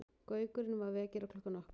Gaukurinn var vekjaraklukkan okkar.